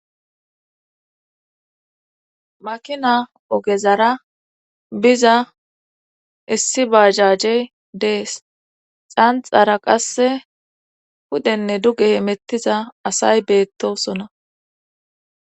makina ogezara biza issi baajajey dees. xanxara qasse pudenne duge hemettiza asay beettosona.